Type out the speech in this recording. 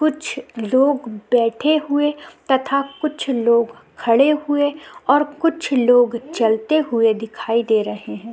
कुछ लोग बैठे हुए तथा कुछ लोग खड़े हुए और कुछ लोग चलते हुए दिखाई दे रहे हैं।